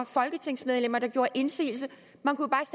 folketingsmedlemmer der gjorde indsigelse